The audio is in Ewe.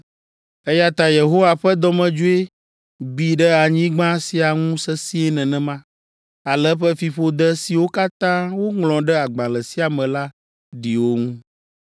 Eya ta Yehowa ƒe dɔmedzoe bi ɖe anyigba sia ŋu sesĩe nenema, ale eƒe fiƒode siwo katã woŋlɔ ɖe agbalẽ sia me la ɖi wo ŋu.